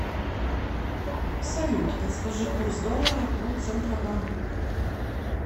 салют подскажи курс доллара по центробанку